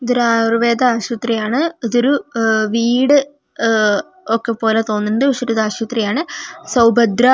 ഇതൊരു ആയുർവേദ ആശുപത്രി ആണ് ഇതൊരു അഹ് വീട് ആഹ് ഒക്കെ പോലെ തോന്നുണ്ട് പക്ഷേ ഇതൊരു ആശുപത്രി ആണ് സൗഭദ്ര--